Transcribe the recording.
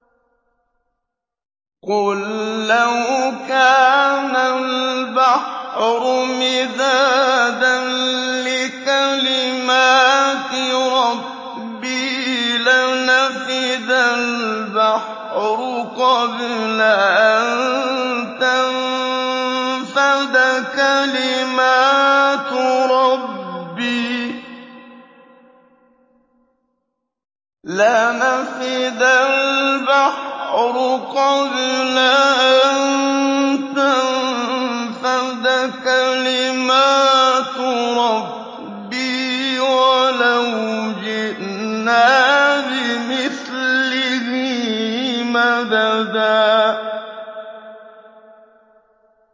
قُل لَّوْ كَانَ الْبَحْرُ مِدَادًا لِّكَلِمَاتِ رَبِّي لَنَفِدَ الْبَحْرُ قَبْلَ أَن تَنفَدَ كَلِمَاتُ رَبِّي وَلَوْ جِئْنَا بِمِثْلِهِ مَدَدًا